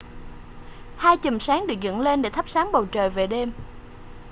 hai chùm sáng được dựng lên để thắp sáng bầu trời về đêm